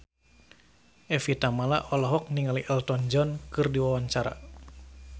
Evie Tamala olohok ningali Elton John keur diwawancara